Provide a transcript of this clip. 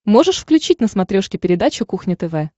можешь включить на смотрешке передачу кухня тв